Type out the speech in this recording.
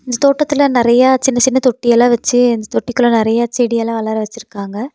ஸ் தோட்டத்துல நறையா சின்ன சின்ன தொட்டி எல்லா வெச்சி அந்த தொட்டி குள்ள நறையா செடி எல்லா வளர வெச்சிருக்காங்க.